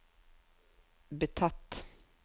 betatt